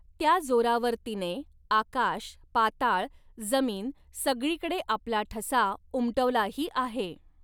त्या जोरावर तिने आकाश, पाताळ, जमीन सगळीकडे आपला ठसा उमटवलाही आहे.